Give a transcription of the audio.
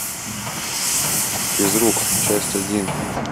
физрук часть один